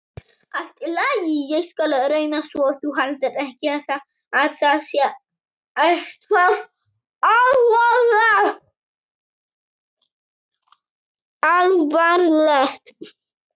Allt í lagi, ég skal reyna svo þú haldir ekki að það sé eitthvað alvarlegt.